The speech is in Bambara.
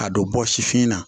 Ka don bɔ sifin na